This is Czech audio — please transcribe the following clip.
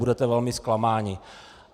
Budete velmi zklamáni.